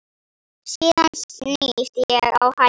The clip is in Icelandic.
Síðan snýst ég á hæli.